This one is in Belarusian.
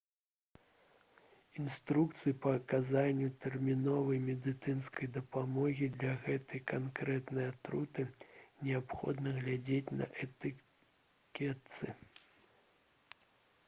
інструкцыі па аказанні тэрміновай медыцынскай дапамогі для гэтай канкрэтнай атруты неабходна глядзець на этыкетцы